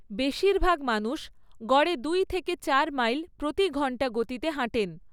বেশিরভাগ মানুষ গড়ে দুই থেকে চার মাইল প্রতি ঘণ্টা গতিতে হাঁটেন।